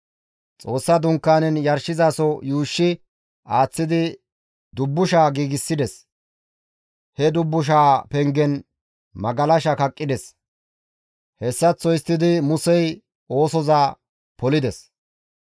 Xoossa Dunkaanen yarshizaso yuushshi aaththidi dubbusha giigsides; he dubbushaa pengen magalasha kaqqides. Hessaththo histtidi Musey oosoza polides.